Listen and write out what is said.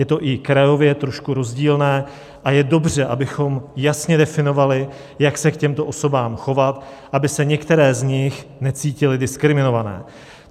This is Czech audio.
Je to i krajově trošku rozdílné a je dobře, abychom jasně definovali, jak se k těmto osobám chovat, aby se některé z nich necítily diskriminované.